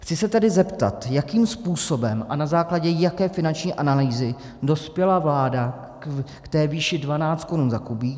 Chci se tedy zeptat, jakým způsobem a na základě jaké finanční analýzy dospěla vláda k té výši 12 korun za kubík.